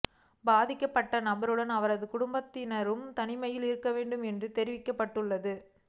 பாதிக்கப்பட்ட நபருடன் அவரது குடும்பத்தினரும் தனிமையில் இருக்க வேண்டும் என்றும் தெரிவிக்கப்ட்டுள்ளது